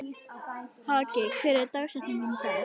Haki, hver er dagsetningin í dag?